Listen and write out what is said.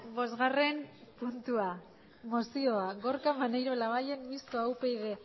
bosgarren puntua mozioa gorka maneiro labayen mistoa upyd